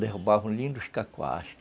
Derrubaram lindos cacoás.